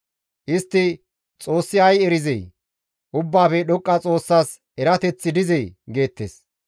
Istti, «Xoossi ay erizee? Ubbaafe Dhoqqa Xoossas erateththi dizee?» geettes.